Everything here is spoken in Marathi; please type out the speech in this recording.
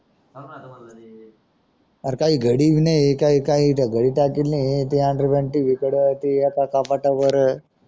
आर काही घडी पण नाही काही काही